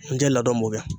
N tɛ ladon kɛ